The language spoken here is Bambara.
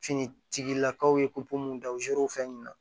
Finitigilakaw ye popu mun dan zɛriwfɛn min na